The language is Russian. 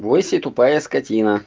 бойся тупая скотина